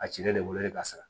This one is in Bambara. A ci ne de wololen kasi